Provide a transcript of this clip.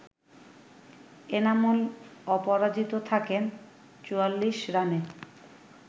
এনামুল অপরাজিত থাকেন ৪৪ রানে